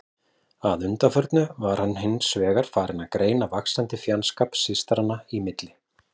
Að undanförnu var hann hins vegar farinn að greina vaxandi fjandskap systranna í milli.